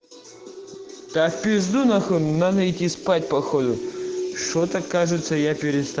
надо идти спать походу что-то кажется я